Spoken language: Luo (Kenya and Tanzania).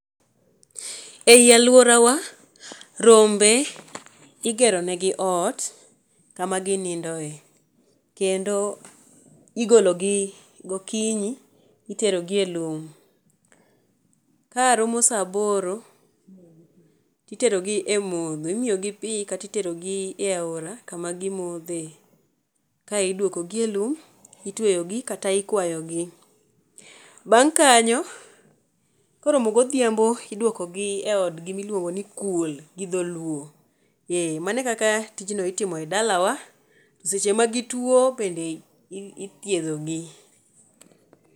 Ei aluorawa rombe igerone gi ot kama ginindoe, kendo igolo gi gokinyi itero gi e lum. Ka romo saa aboro, titero gi e modho imiyo gi pii kata itero gi e aora kama gimodhe kae idwoko gi e lum itweyo gi kata ikwayogi. Bang kanyo, koromo godhiambo idwoko gi e odgi miluongo ni kul gi dholuo. Ee mane kaka tij no itimo e dalawa, seche ma gituo bende ithiedhogi.